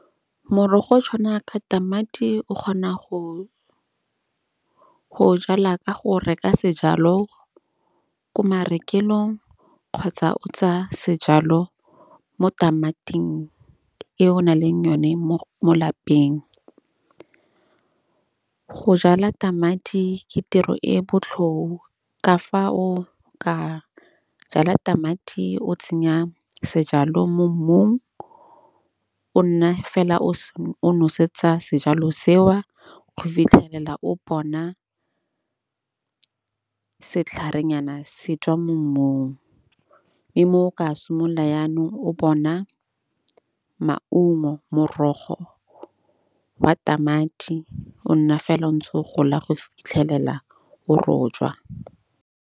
Morogo o tshwana ka tamati o kgona go go o jala ka go reka sejalo ko marekelong kgotsa o tsa sejalo mo tamating e o o na leng yone mo mo lapeng. Go jala tamati ke tiro e botlhoho ka fa o ka jala tamati o tsenya sejalo mo mmung, o nna fela o se o nosetsa sejalo seo. Go fitlhelela mo bona setlharenyana se tswa mo mmung. Ke mo o ka simolola jaanong o bona maumo morogo wa tamati o nna fela o ntse o gola go fitlhelela o rojwa.